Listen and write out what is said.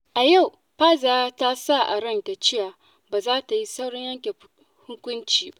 A yau, Fa’iza ta sa a ranta cewa ba za ta yi saurin yanke hukunci ba.